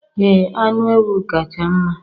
Ee anụ ewu kacha mma